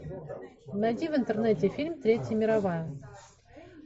найди в интернете фильм третья мировая